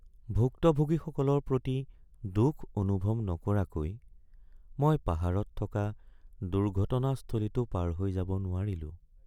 ভুক্তভোগীসকলৰ প্ৰতি দুখ অনুভৱ নকৰাকৈ মই পাহাৰত থকা দুৰ্ঘটনাস্থলীটো পাৰ হৈ যাব নোৱাৰিলোঁ।